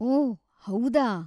ಓಹ್‌, ಹೌದಾ?